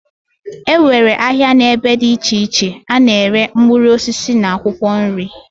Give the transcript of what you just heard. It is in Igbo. Enwere ahia na ebe di iche iche ana ere mkpuruosisi na akwokwo nri.